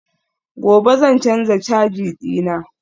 gobe zan canza caja dina